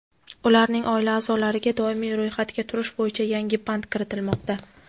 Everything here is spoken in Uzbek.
ularning oila aʼzolariga doimiy ro‘yxatga turish bo‘yicha yangi band kiritilmoqda.